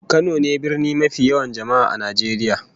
Kano ne birni mafi yawan jama'a a Najeriya